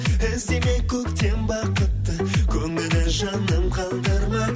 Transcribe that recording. іздемей көктен бақытты көңілін жаным қалдырма